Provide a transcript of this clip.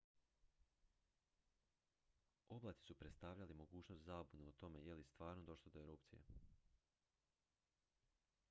oblaci su predstavljali mogućnost zabune o tome je li stvarno došlo do erupcije